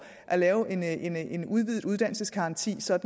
at lave en en udvidet uddannelsesgaranti så